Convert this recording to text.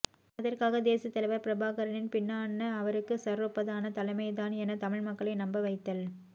அதற்காக தேசியத் தலைவர் பிரபாகரனின் பின்னான அவருக்குச் சற்றொப்பதான தலைமை தான் என தமிழ் மக்களை நம்ப வைத்தல்